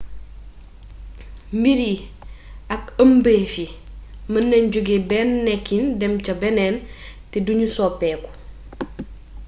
mbir yi ak ëmbeef yi mën nañ jóge benn nekkin dem saa beeneen te du ñu soppeeku